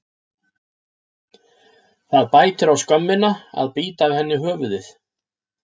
Það bætir á skömmina að bíta af henni höfuðið.